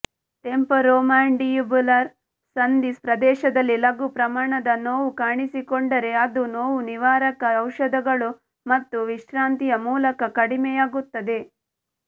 temporomandibular ಸಂಧಿ ಪ್ರದೇಶದಲ್ಲಿ ಲಘು ಪ್ರಮಾಣದ ನೋವು ಕಾಣಿಸಿಕೊಂಡರೆ ಅದು ನೋವು ನಿವಾರಕ ಔಷಧಗಳು ಮತ್ತು ವಿಶ್ರಾಂತಿಯ ಮೂಲಕ ಕಡಿಮೆಯಾಗುತ್ತದೆ